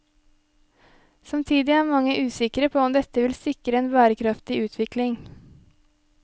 Samtidig er mange usikre på om dette vil sikre en bærekraftig utvikling.